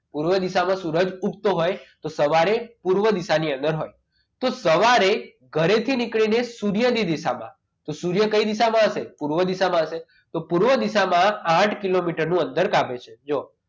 પૂર્વ દિશામાં સૂર્ય ઊગતો હોય તો સવારે પૂર્વા દિશાની અંદર હોય તો સવારે ઘરેથી નીકળીને સૂર્યની દેખાવમાં તો સૂર્ય કઈ દિશામાં હશે પૂર્વ દિશામાં હશે તો પૂર્વ દિશામાં આથ કિલોમીટરનું અંતર કાપે છે જુઓ